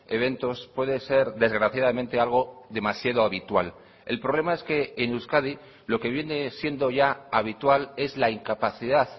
eventos puede ser desgraciadamente algo demasiado habitual el problema es que en euskadi lo que viene siendo ya habitual es la incapacidad